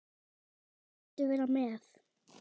Viltu vera með?